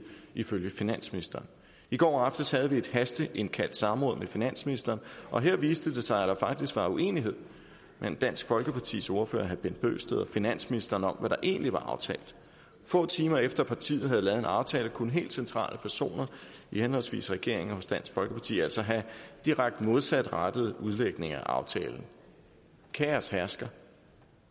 ifølge finansministeren i går aftes havde vi et hasteindkaldt samråd med finansministeren og her viste det sig at der faktisk var uenighed mellem dansk folkepartis ordfører herre bent bøgsted og finansministeren om hvad der egentlig var aftalt få timer efter at partiet havde lavet en aftale kunne helt centrale personer i henholdsvis regeringen og dansk folkeparti altså have direkte modsatrettede udlægninger af aftalen kaos hersker